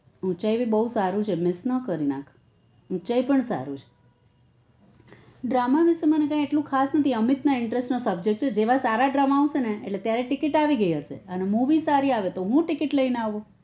ઉંચાઈ ભી બુ સારું છે miss ન કરી નાખ ઉંચાઈ પણ સારું છે drama વિશે મને કાઈ એટલું ખાસ નથી અમિત ના interest ના subject છે જેવા સારા drama આવશે ને એટલે ત્યારે ticket આવી ગઈ હશે અને movie સારી આવે તો હું ticket લઇ ને આવું